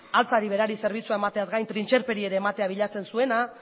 altzari berari zerbitzua emateaz gain trintxerperi ere ematea bilatzen zuena